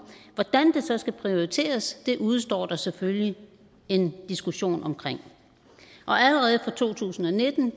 hvordan det så skal prioriteres udestår der selvfølgelig en diskussion om og allerede fra to tusind og nitten